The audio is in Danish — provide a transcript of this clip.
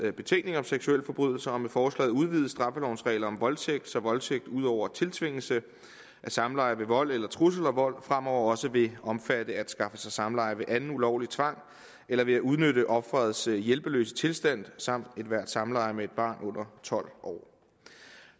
betænkning om seksualforbrydelser og med forslaget udvides straffelovens regler om voldtægt så voldtægt ud over tiltvingelse af samleje ved vold eller trusler om vold fremover også vil omfatte at skaffe sig samleje ved anden ulovlig tvang eller ved at udnytte ofrets hjælpeløse tilstand samt ethvert samleje med et barn under tolv år